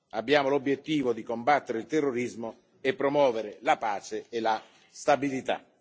Abbiamo l'obiettivo di combattere il terrorismo e promuovere la pace e la stabilità.